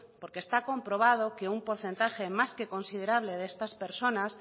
porque está comprobado que un porcentaje más que considerable de estas personas